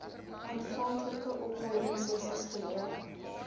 aanvanklike opleidingsessies geleer